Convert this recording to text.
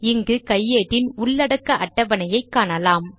இங்கு கையேட்டின் உள்ளடக்க அட்டவணையைக் காணலாம்